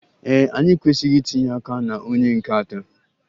Ee e, anyị ekwesịghị itinye aka na onye nke atọ.